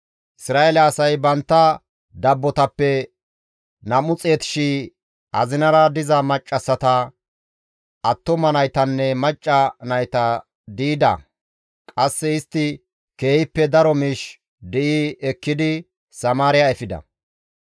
Isra7eele asay bantta dabbotappe 200,000 azinara diza maccassata, attuma naytanne macca nayta di7ida; qasse istti keehippe daro miish di7i ekkidi Samaariya efida.